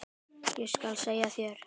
Ég skal segja þér,